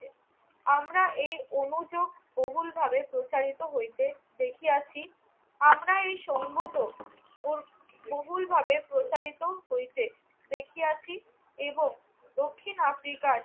আমরা এ অনুযোগ বহুলভাবে প্রচারিত হইতে দেখিয়াছি। আমরা এ সঙ্গত বহুলভাবে প্রচারিত হইতে দেখিয়াছি এবং দক্ষিণ আফ্রিকার